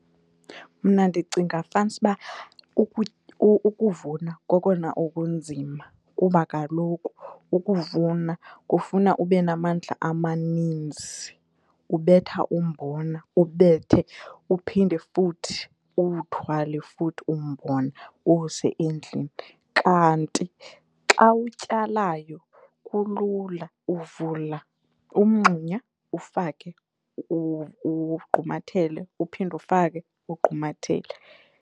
Mna ndicinga fanisuba ukuvuna kokona okunzima kuba kaloku ukuvuna kufuna ube namandla amaninzi, ubetha umbona, ubethe uphinde futhi uwuthwale futhi umbona uwuse endlini. Kanti xa utyalayo kulula. Uvula umngxunya ufake ugqumathele, uphinde ufake ugqumathele.